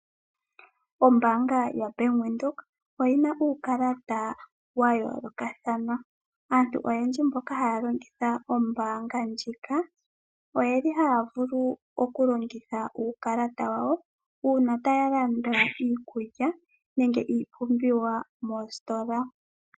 Oombaanga yoBank Windhoek oyi na uukalata wa yoolokathana. Aantu oyendji mboka haya longitha ombaanga ndjika ohaya vulu okulongitha uukalata wawo Uuna taya landa iikulya nenge iipumbiwa moositola.